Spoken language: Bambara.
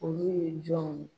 Olu ye jɔnw ye